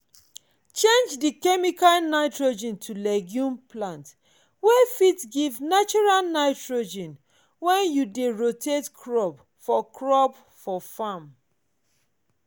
change di chemical nitrogen to legume plant wey fit give natural nitrogen wen you dey rotate crop for crop for farm